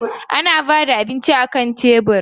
Ana ba da abinci akan tebur.